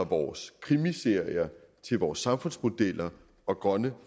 vores krimiserier til vores samfundsmodeller og grønne